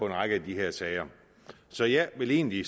en række af de her sager så jeg vil egentlig